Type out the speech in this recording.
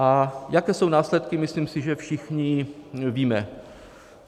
A jaké jsou následky, si myslím, že všichni víme.